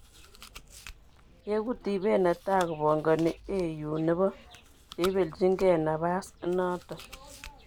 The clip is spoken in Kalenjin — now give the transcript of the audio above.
yegu tibeeet netaa kopangani AU nepo cheipeljingee napaas inaton